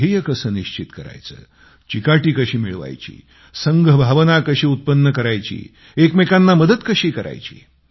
ध्येय कसे निश्चित करायचे चिकाटी कशी मिळवायची संघ भावना कशी उत्पन्न करायची एकमेकांना मदत कशी करायची